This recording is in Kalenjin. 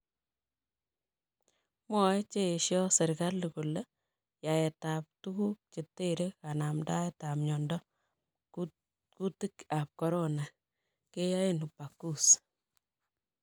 Mwae chee esio serkali kole yaet ab tuguk chetere kanamdaet ab miandop kutiik ab Corona keyae en upakusi